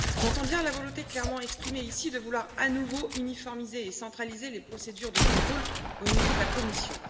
J'entends bien la volonté clairement exprimée ici de vouloir à nouveau uniformiser et centraliser les procédures de contrôle au niveau de la Commission.